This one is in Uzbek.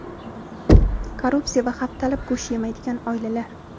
korrupsiya va haftalab go‘sht yemaydigan oilalar.